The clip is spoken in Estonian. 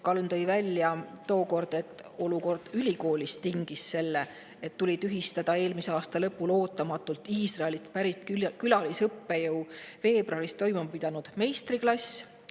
Kalm tõi tookord välja, et olukord ülikoolis tingis selle, et eelmise aasta lõpul tuli ootamatult tühistada Iisraelist pärit külalisõppejõu veebruaris toimuma pidanud meistriklass.